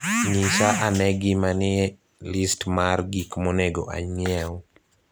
Nyisa ane gima nie list mar gik monego ang'iew